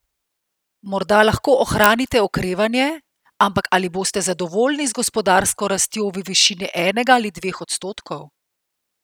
Morda lahko ohranite okrevanje, ampak ali boste zadovoljni z gospodarsko rastjo v višini enega ali dveh odstotkov?